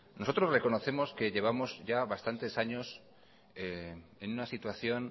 nosotros reconocemos ya bastantes años en una situación